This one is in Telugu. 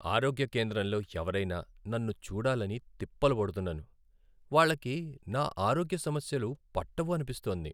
ఆరోగ్య కేంద్రంలో ఎవరయినా నన్ను చూడాలని తిప్పలు పడుతున్నాను, వాళ్ళకి నా ఆరోగ్య సమస్యలను పట్టవు అనిపిస్తోంది.